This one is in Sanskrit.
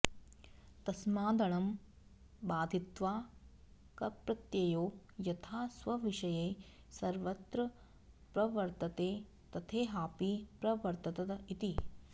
तस्मादणं बाधित्वा कप्रत्ययो यथा स्वविषये सर्वत्र प्रवर्तते तथेहापि प्रवर्तत इति